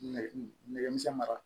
Nɛgɛ nɛgɛ misɛnman